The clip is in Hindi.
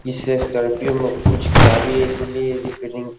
इस स्कॉर्पियो में कुछ खराबी है इसीलिए रिपेयरिंग --